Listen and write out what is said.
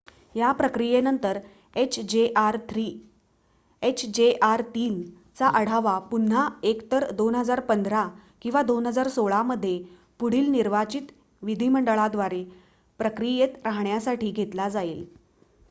या प्रक्रियेनंतर hjr-3 चा आढावा पुन्हा एकतर 2015 किंवा 2016 मध्ये पुढील निर्वाचित विधीमंडळाद्वारे प्रक्रियेत राहण्यासाठी घेतला जाईल